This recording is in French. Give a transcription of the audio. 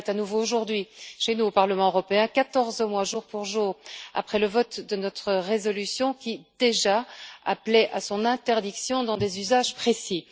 La balle est à nouveau, aujourd'hui, chez nous, au Parlement européen, quatorze mois jour pour jour après le vote de notre résolution qui, déjà, appelait à son interdiction dans des usages précis.